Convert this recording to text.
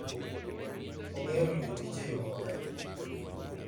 Ong'eyo ritokich e yo maber.